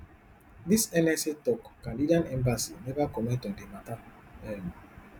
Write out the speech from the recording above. di nsa tok canadian embassy neva comment on di mata um